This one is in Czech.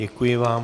Děkuji vám.